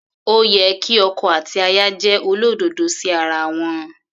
Ó yẹ kí ọkọ àti aya jẹ́ olódodo sí ara wọn.